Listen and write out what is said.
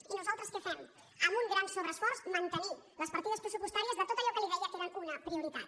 i nosaltres què fem amb un gran sobre·esforç mantenir les partides pressupostàries de tot allò que li deia que eren una prioritat